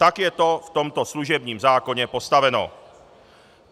Tak je to v tomto služebním zákoně postaveno.